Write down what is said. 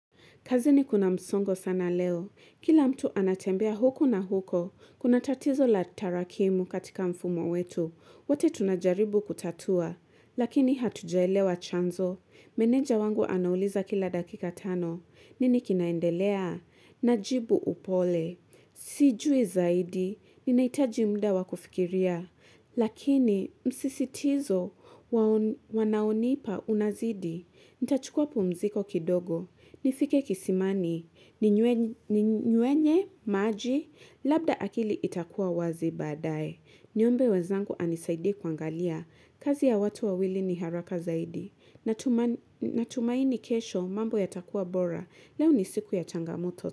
Kazini kuna msongo sana leo kila mtu anatembea huku na huko kuna tatizo la tarakimu katika mfumo wetu wote tunajaribu kutatua lakini hatujaelewa chanzo meneja wangu anauliza kila dakika tano nini kinaendelea najibu upole sijui zaidi ninahitaji muda wakufikiria lakini msisitizo wanaonipa unazidi nitachukua pumziko kidogo nifike kisimani ninywenye maji labda akili itakuwa wazi badae niombe wezangu anisaidie kuangalia kazi ya watu wawili ni haraka zaidi natumaini kesho mambo yatakuwa bora leo ni siku ya changamoto.